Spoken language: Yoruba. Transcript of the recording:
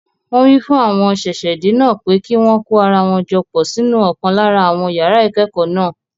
Wọn wí fún àwọn ṣẹ̀ṣẹ̀-dé náà pé kí wọn kó ara jọ pọ̀ sínú ọ̀kan lára àwọn yàrá ìkẹ́kọ̀ọ́ náà.